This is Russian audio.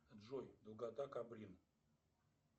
джой долгота каблин